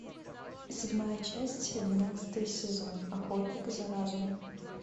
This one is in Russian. седьмая часть двенадцатый сезон охотник за разумом